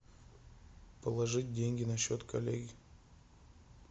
положить деньги на счет коллеге